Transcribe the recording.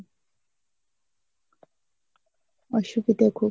অসদুবিধ খুব